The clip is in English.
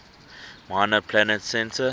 minor planet center